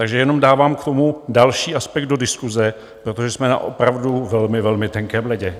Takže jenom dávám k tomu další aspekt do diskuse, protože jsme na opravdu velmi, velmi tenkém ledě.